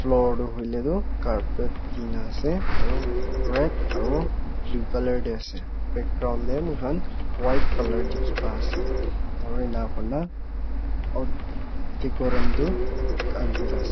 floor do hoile du carpet dina ase aru red aro blue color de ase background de moikhan white color dikhi pai ase aru ena kurina uh decorum tu andhera ase.